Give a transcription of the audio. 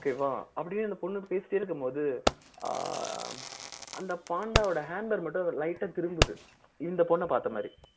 okay வா அப்படியே அந்த பொண்ணு பேசிட்டே இருக்கும்போது ஆஹ் அந்த பாண்டாவோட handlebar மட்டும் அதுல light ஆ திரும்புது இந்த பொண்ண பார்த்த மாதிரி